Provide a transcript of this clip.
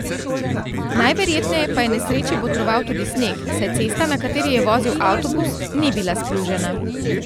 Najverjetneje pa je nesreči botroval tudi sneg, saj cesta, na kateri je vozil avtobus, ni bila splužena.